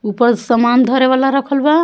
ऊपर सामान धरे वाला रखल बा।